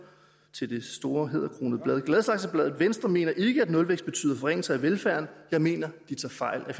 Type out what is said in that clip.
til det store hæderkronede blad gladsaxebladet venstre mener ikke at nulvækst betyder forringelser af velfærden jeg mener de tager fejl